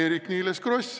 Eerik-Niiles Kross.